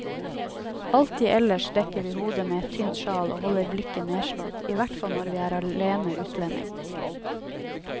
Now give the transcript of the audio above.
Alltid ellers dekker vi hodet med et tynt sjal og holder blikket nedslått, i hvert fall når vi er alene utlending.